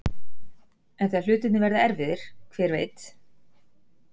En þegar hlutirnir verða erfiðir, hver veit?